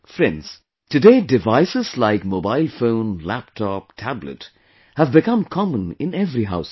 Friends, today devices like Mobile Phone, Laptop, Tablet have become common in every household